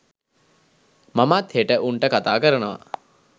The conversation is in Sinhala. මමත් හෙට උන්ට කතා කරනවා